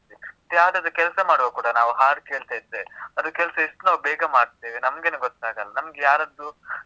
ಯಾವ್ದಾದ್ರೂ ಕೆಲ್ಸ ಮಾಡ್ವಾಗ ಕೂಡ ನಾವು ಹಾಡು ಕೇಳ್ತಾ ಇದ್ರೆ, ಅದು ಕೆಲ್ಸ ಎಷ್ಟ್ ನಾವ್ ಬೇಗ ಮಾಡ್ತೇವೆ, ನಮ್ಗೇನೇ ಗೊತ್ತಾಗಲ್ಲ. ನಮ್ಗ್ ಯಾರದ್ದೂ ಇದು TV ನೋಡೋದು, necessity ಇರಲ್ಲ, ನಾವು ಕೆಲ್ಸ ಮಾಡುವಾಗ.